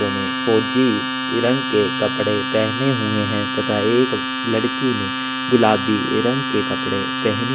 इन्होने फौजी के रंग के कपड़े पहने हुए है तथा एक लड़की ने गुलाबी रंग के कपड़े पहनी--